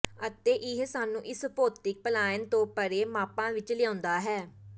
ਅਤੇ ਇਹ ਸਾਨੂੰ ਇਸ ਭੌਤਿਕ ਪਲਾਇਣ ਤੋਂ ਪਰੇ ਮਾਪਾਂ ਵਿੱਚ ਲਿਆਉਂਦਾ ਹੈ